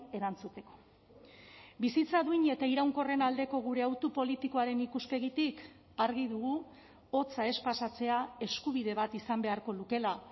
erantzuteko bizitza duin eta iraunkorren aldeko gure hautu politikoaren ikuspegitik argi dugu hotza ez pasatzea eskubide bat izan beharko lukela